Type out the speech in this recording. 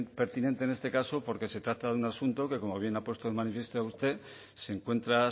pertinente en este caso porque se trata de un asunto que como bien ha puesto de manifiesto usted se encuentra